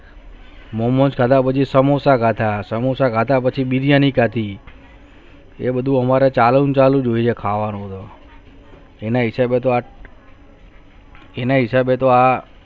Momos ખાદા પછી સમોસા ખાદા સમોસા ખાદા પછી બિરયાની ખાદી એ બધું હમર ચાલં ચાલુ હોયે ખાવાનું એને હિસોબચ અને હિસાબ તો આ